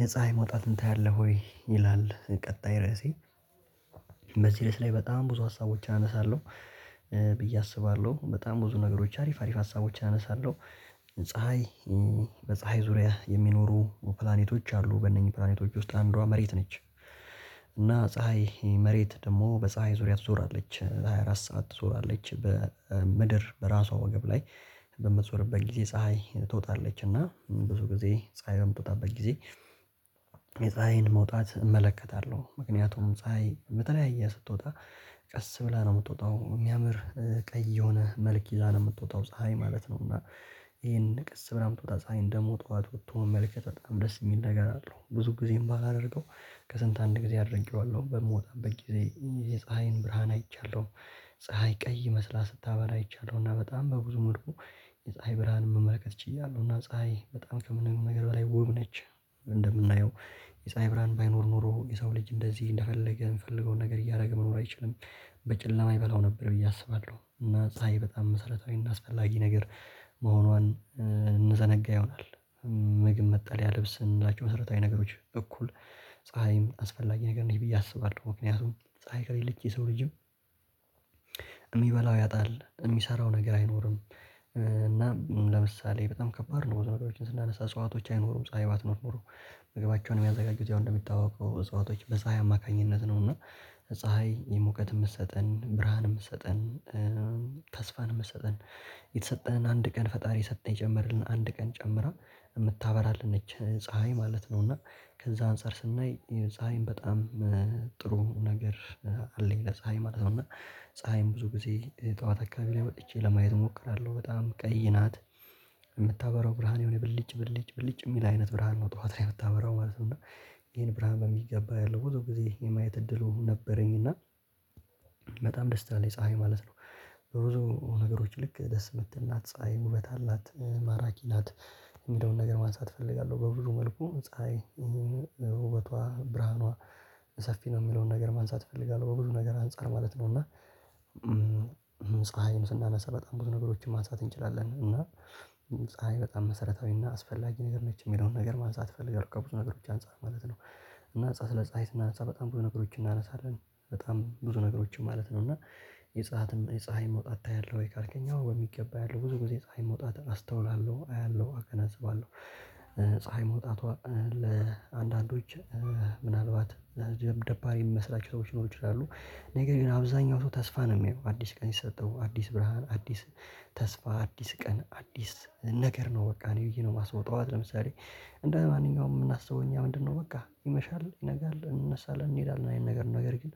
የፀሀይ መውጣትን ታያለህ ወይ ይላል? ቀጣይ ርዕሴ በዚህ ርዕስ ላይ በጣም ብዙ ሀሳቦች አነሳለሁ ብዬ አስባለሁ በጣም ብዙ ነገሮች አሪፍ አሪፍ ሀሳቦችን አነሳለሁ። ፀሀይ በፀሀይ ዙሪያ የሚኖሩ ፕላኔቶች አሉ በእነኚህ ፕላኔቶች ውስጥ አንዷ መሬት ነች። እና ፀሀይ መሬት ደግሞ በፀሀይ ዙሪያ ትዞራለች ለሃያ አራት ሰዓት ትዞራለች በምድር በራሷ ወገብ ላይ በምትዞርበት ጊዜ ፀሀይ ትወጣለች እና ብዙ ጊዜ ፀሀይ በምትወጣበት ጊዜ። የፀሀይን መውጣት እመለከታለሁ ምክንያቱም ፀሀይ በተለያየ ስትወጣ ቀስ ብላ ነው እምትወጣው እሚያምር ቀይ የሆነ መልክ ይዛ ነው እምትወጣው ፀሀይ ማለት ነው። እና ይሄን ቀስ ብላ እምትወጣው ፀሀይ ደሞ ጥዋት ወጥቶ መመልከት በጣም ደስ እሚል ነገር አለው ብዙ ጊዜ እማላደርገው ከስንት አንድ ጊዜ አድርጌዋለሁ በምወጣበት ጊዜ የፀሀይን ብርሃን አይቻለሁ። ፀሀይ ቀይ መስላ ስታበራ አይቻለሁ እና በጣም በብዙ መልኩ የፀሀይ ብርሃንን መመልከት ችያለሁ እና ፀሀይ በጣም ከምንም ነገር በላይ ውብ ነች። እንደምናየው የፀሀይ ብርሃን ባይኖር ኖሮ የሰው ልጅ እንደዚህ እንደፈለገ የምፈልገውን ነገር እያደረገ መኖር አይችልም። በጨለማ ይበላው ነበር ብዬ አስባለሁ እና ፀሀይ በጣም መሰረታዊ እና አስፈላጊ ነገር መሆኗን እንዘነጋ ይሆናል። ምግብ መጠልያ ልብስ እምንላቸው ነገሮች መሰረታዊ ነገሮች በኩል ፀሀይም አስፈላጊ ነገር ነች ብዬ አስባለሁ ምክንያቱም ፀሀይ ከሌለች የሰው ልጅም እሚበላው ያጣል እሚሰራው ነገር አይኖርም። እና ለምሳሌ በጣም ከባድ ነው ዘመዶችን ስናነሳ እሷቶች አይኖሩም ፀሀይ ባትኖር ኖሮ ምግባቸውን እሚያዘጋጁት ያው እንደምታውቀው እዛው በፀሀይ አማካኝነት ነው እና ፀሀይ የሙቀት የምትሰጠን ብርሃን የምትሰጠን ተስፋን እምትሰጠን የተሰጠንን አንድ ቀን ፈጣሪ የሰጠህ የጨመርክልን አንድ ቀን ጨምራ እምታበራልን ነች ፀሀይ ማለት ነው። እና ከዛ አንፃር ስናይ ፀሀይም በጣም ጥሩ ነገር አለኝ ለፀሀይ ማለት ነው እና ፀሀይም ብዙ ጊዜ ጠዋት አካባቢ ላይ በጥቼ ለማየት እሞክራለሁ በጣም ቀይ ናት። እምታበራው ብርሃን የሆነ ብልጭ ብልጭ ብልጭ እሚል አይነት ብርሃን ነው ጠዋት ላይ እምታበራው ማለት ነው። እና ይሄን ብርሃን በሚገባ ያለው በዚህ ጊዜ የማየት እድሉ ነበረኝ እና በጣም ደስታ ትላለ ፀሀይ ማለት ነው። በሩዞ ነገሮች ልክ ደስ የምትል እናት ፀሀይ ውበት አላት ማራኪ ናት። እሚለውን ነገር ማንሳት እፈልጋለሁ በብዙ መልኩ ፀሀይ ይሄን ውበቷ ብርሃኗ ሰፊ ነው እሚለውን ነገር ማንሳት እፈልጋለሁ በብዙ ነገር አንፃር ማለት ነው። እና ፀሀይን ስናነሳ በጣም ብዙ ነገሮችን ማሳተፍ እንችላለን እና ፀሀይ በጣም መሰረታዊ እና አስፈላጊ ነገር ነች እሚለውን ነገር ማንሳት እፈልጋለህ ከብዙ ነገሮች አንፃር ማለት ነው። እና ስለ ፀሀይ ስናነሳ በጣም ብዙ ነገሮችን እናነሳለን በጣም ብዙ ነገሮችን ማለት ነው። እና የፀሀይ መውጣት ታያለህ ወይ? ካልከኝ አዎ በሚገባ አያለሁ ብዙ ጊዜ የፀሀይን መውጣት አስተውላለሁ አያለሁ አከናዝባለሁ። ፀሀይ መውጣቷ ለአንዳንዶች ምናልባት ደባሪ እሚመስላቸው ሰዎች ይኖሩ ይችላሉ ነገር ግን አብዛኛው ሰው ተስፋ ነው እሚያየው አዲስ ቀን ይሰጠው አዲስ ብርሃን አዲስ ተስፋ አዲስ ቀን አዲስ ነገር ነው። በቃ እኔ ብየ ነው የማስበው ጧት ለምሳሌ እንደማንኛውም እምናስበው እኛ ምንድነው በቃ ይመሻል ይነጋል እንነሳለን እንሄዳለን የአይነት ነገር ነው ነገር ግን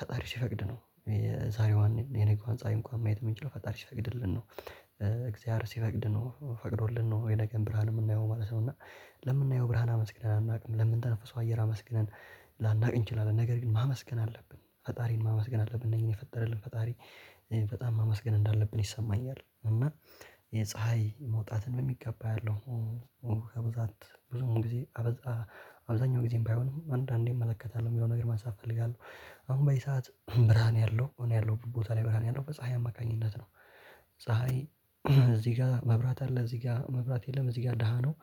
ፈጣሪሽ ሲፈቅድ ነው። የዛሬዋን የነገዋን ፀሀይ እንኳን ማየት እምንችለው ፈጣሪ ሲፈቅድልን ነው እግዚአሐር ሲፈቅድ ነው ፈቅዶልን ነው የነገን ብርሃን እምናየው ማለት ነው። እና ለምናየው ብርሃን አመስግነን አናውቅም ለምንተንፍሰው አየር አመስግነን ላናቅ እንችላለን ነገር ግን ማመስገን አለብን ፈጣሪን ማመስገን አለብን እነኝህን የፈጠረልን ፈጣሪ በጣም ማመስገን እንዳለብን ይሰማኛል። እና የፀሀይ መውጣትን በሚገባ አያለ ብዙውን ጊዜ አብዛኛው ጊዜም ባይሆን አንዳንዴ እመለከታለሁ እሚለውን ነገር ማንሳት እፈልጋለሁ። አሁን በዚህ ሰዓት ብርሃን ያለው እኔ ያለሁበት ቦታ ላይ ብርሃን ያለው በፀሀይ አማካኝነት ነው። ፀሀይ እዚህ ጋ መብራት አለ እዚህ ጋ መብራት የለም እዚህ ጋ ደሃ ነው።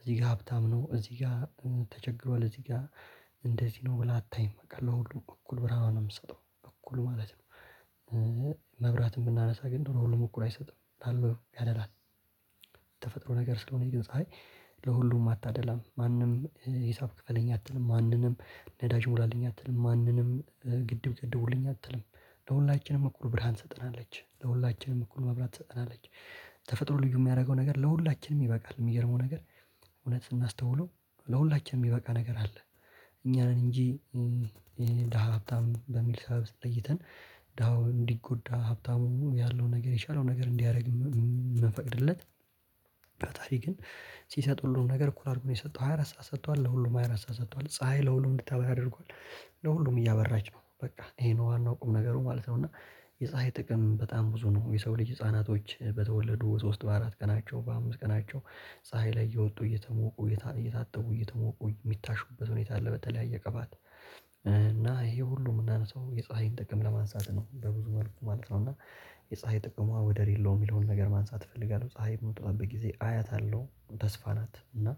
እዚህ ጋ ሀብታም ነው እዚህ ጋ ተቸግሯል እዚህ ጋ እንደዚህ ነው ብላ አታይም ካለው ሁሉ እኩል ብርሃን ነው እምሰጠው እኩል ማለት ነው። መብራትን ብናነሳ ግን ደግሞ ለሁሉም እኩል አይሰጥም ላለው ያደላል። ተፈጥሮ ነገር ስለሆነ ይገኛል። ለሁሉም አታደላም ማንም ሂሳብ ክፍለኝ አትልም ማንንም ነዳጅ ሙላልኝ አትልም። ማንንም ግድብ ገድቡልኝ አትልም። ለሁላችንም እኩል ብርሃን ትሰጠናለች ለሁላችንም እኩል መብራት ትጠናለች። ተፈጥሮ ልዩ እሚያረገው ነገር ለሁላችንም ይበቃል እሚገርመው ነገር እውነት ስናስተውለው ለሁላችንም እሚበቃ ነገር አለ። እኛ ነን እንጂ የሄ ድሃ ሀብታም በሚል ሰበብ ለይተን ድሀው እንዲጎዳ ሀብታሙ ያለውን ነገር የቻለውን ነገር እንዲያደርግ እምንፈቅድለት ፈጣሪ ግን ሲሰጥ ሁሉን ነገር እኩል አርጎ ነው። የሰጠው ሃያ አራት ሰዓት ሰጥቷል ለሁሉም ሃያ አራት ሰዓት ሰጥቷል ፀሀይ ለሁሉም እንድታበራ ያደርጓል ለሁሉም እያበራች ነው በቃ ይሄ ነው ዋናው ቁም ነገሩ ማለት ነው። እና የፀሀይ ጥቅም በጣም ብዙ ነው የሰው ልጅ ህፃናቶች በተወለዱ በሶስት በአራት ቀናቸው በአምስት ቀናቸው ፀሀይ ላይ እየወጡ እየሞቁ እየታጠቡ እየተሞቁ እሚታሹበት ሁኔታ አለ በተለያየ ቅባት እና ይሄ ሁሉ እምናነሳው የፀሀይን ጥቅም ለማንሳት ነው። በብዙ መልኩ ማለት ነው እና የፀሀይ ጥቅሟ ወደር የለውም። እሚለውን ነገር ማንሳት እፈልጋለሁ ፀሀይ በመውጣበት ጊዜ አያታለሁ ተስፋ ናት እና